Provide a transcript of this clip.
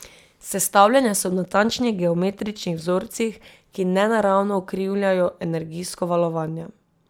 Sestavljene so v natančnih geometričnih vzorcih, ki nenaravno ukrivljajo energijsko valovanje.